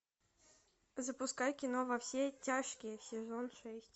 запускай кино во все тяжкие сезон шесть